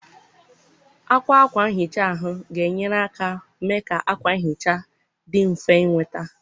Àkwà ákwá nhicha ahụ ga-enyere aka mee ka akwa nhicha dị mfe ịnweta.